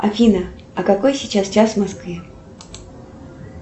афина а какой сейчас час в москве